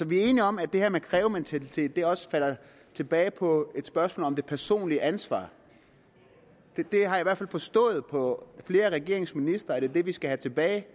vi er enige om at det her med krævementalitet også falder tilbage på et spørgsmål om det personlige ansvar det har jeg i hvert fald forstået på flere af regeringens ministre er det vi skal have tilbage